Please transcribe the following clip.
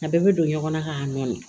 A bɛɛ bɛ don ɲɔgɔn na k'a nɔɔni